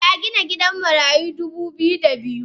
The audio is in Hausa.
Eh algina gidan marayu dubu biyu da biyu.